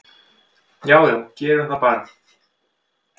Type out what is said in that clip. """Já já, gerum það bara."""